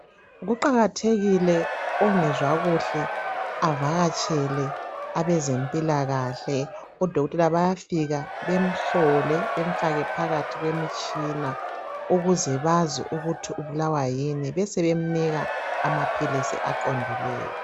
Kuqakathekile ongezwa kuhle avakatshele abezempilakahle odokotela bayafika bemhlole bemfake phakathi kwemitshini ukuze bazi ukuthi ubulawa yini besebemnika amaphilisi aqondileyo.